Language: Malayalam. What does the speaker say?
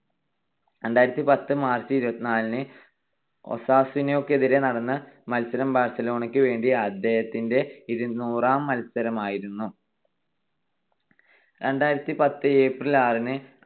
രണ്ടായിരത്തിപത്ത് March ഇരുപത്തിനാലിന് ഒസാസുനക്കെതിരെ നടന്ന മത്സരം ബാഴ്സലോണക്ക് വേണ്ടി അദ്ദേഹത്തിന്റെ ഇരുനൂറാം മത്സരമായിരുന്നു. രണ്ടായിരത്തിപത്ത് April ആറിന്